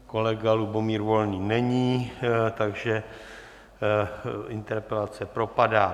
Kolega Lubomír Volný není, takže interpelace propadá.